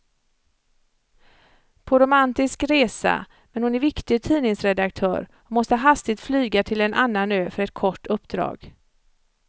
På romantisk resa, men hon är viktig tidningsredaktör och måste hastigt flyga till en annan ö för ett kort uppdrag.